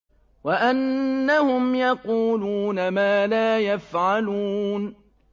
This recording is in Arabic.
وَأَنَّهُمْ يَقُولُونَ مَا لَا يَفْعَلُونَ